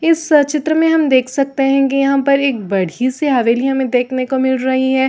इस सह चित्र मे हम देख सकते है की यहाँ पर एक बड़ी सी हवेली हमें देखने को मिल रही है।